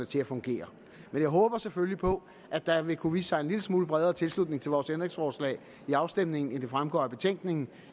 til at fungere men jeg håber selvfølgelig på at der vil kunne vise sig en lille smule bredere tilslutning til vores ændringsforslag ved afstemningen end det fremgår af betænkningen